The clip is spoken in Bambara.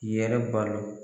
Yɛrɛ balo